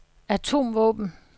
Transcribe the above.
atomvåben